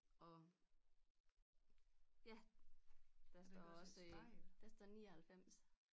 Og ja der står også der står 99